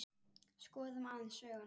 Skoðum aðeins söguna.